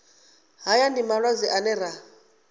haya ndi malwadze ane ra